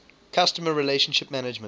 customer relationship management